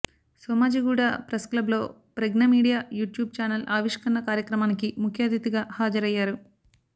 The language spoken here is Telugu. సోమాజిగూడ ప్రెస్ క్లబ్ లో ప్రజ్ఞ మీడియా యూట్యూబ్ ఛానల్ ఆవిష్కరణ కార్యక్రమానికి ముఖ్య అతిధిగా హాజరయ్యారు